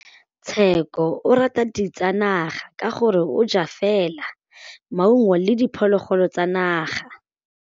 Tshekô o rata ditsanaga ka gore o ja fela maungo le diphologolo tsa naga.